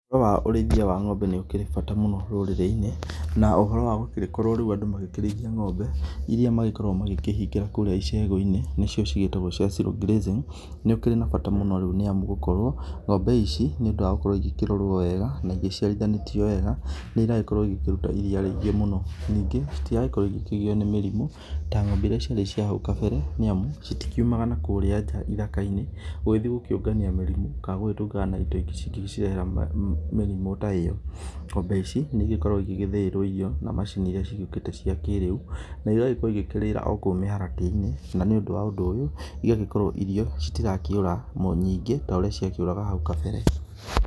Uhoro wa ũrĩĩthĩa wa ngombe nĩ ũkĩrĩ na bata mũno rũrĩrĩ inĩ na ũhoro wa gũgĩkorwo makĩrĩĩthĩa ngombe ĩrĩa magĩkoragwo makĩrĩĩthĩa ngombe irĩa magĩkoragwo makĩhĩngĩra kũrĩa icegũ inĩ nĩcio cigetagwo cia zero-grazing, nĩ ũkĩrĩ na bata mũno nĩ amũ nĩ gũkorwo ngombe ici nĩ ũndũ wa gũkorwo nĩ ĩkĩrorwo wega na ĩgĩciarĩthĩnatwo wega nĩ ĩrakorwo ĩkĩrũta irĩa rĩega mũno nĩnge citiragĩkorwo ikĩgĩo nĩ mĩrĩmũ ta ngombe ĩrĩa ciarĩ cia haũ kabere nĩ amũ citikĩũmaga nakũrĩa ja ithaka inĩ, gũgĩthĩe gũkĩũnganĩa mĩrimũ kana gũgĩtũngana na indo ingĩ ingĩ mĩrĩhera mĩrimũ ta ĩyo. Ngombe ici nĩ ĩgĩkoragwo igĩthĩĩrwo ĩrĩo nĩ macini cikĩ giũkite cia kĩrĩũ na igagĩkorwo ikĩrĩra o koũ mĩharatĩ inĩ na nĩ ũndũ wa ũndũ ũyũ igagĩkorwo irĩo cigakorwo citirakĩũra nyĩngĩ ta ũrĩa ciakĩoraga haũ kabere.